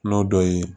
N'o dɔ ye